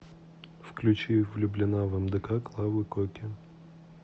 включи влюблена в мдк клавы коки